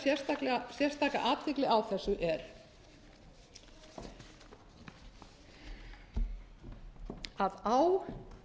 tilefni þess að ég vildi vekja sérstaka athygli á þessu er að á